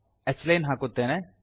h line ಹಾಕುತ್ತೇನೆ